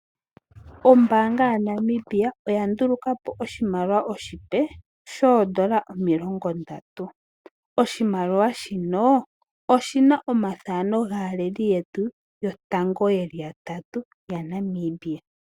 Ombaanga ya Namibia oya ndulukapo oshimaliwa oshipe shoondola omilongo ndatu. Oshimaliwa shino oshina omathano gaaleli yetu, yotango yeli yatatu ya Namibia.